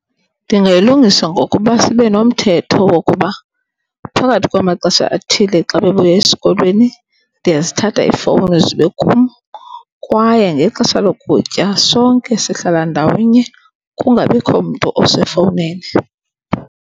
Ndingayilungisa ngokuba sibe nomthetho wokuba phakathi kwamaxesha athile xa bebuya esikolweni ndiyazithatha iifowuni zibe kum kwaye ngexesha lokutya sonke sihlala ndawonye kungabikho mntu osefowunini.